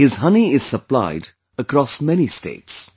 His honey is supplied across many states